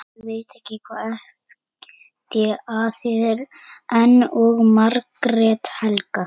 Ida og Margrét Helga.